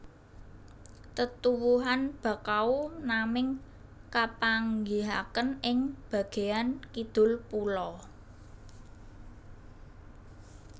Tetuwuhan Bakau naming kapanggihaken ing bageyan kidul pulo